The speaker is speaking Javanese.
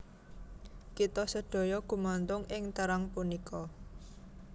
Kita sedaya gumantung ing terang punika